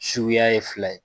Suguya ye fila ye.